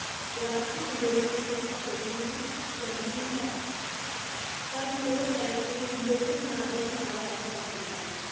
ਰਾਸ਼ਟਰੀ ਅੰਦੋਲਨ ਨੂੰ ਹਿੰਸਾ ਛੱਡਣੀ ਚਾਹੀਦੀ ਹੈ ਪਰ ਲੌੜ ਪੈਣ ਤੇ ਲੋਕ ਹਥਿਆਰ ਦਾ ਸਹਾਰਾ ਲੈ ਸਕਦੇ ਹਨ।